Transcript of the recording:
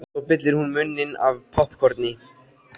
Svo fyllir hún munninn af poppkorni.